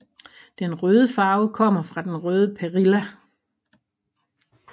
Den røde farve kommer fra den røde perilla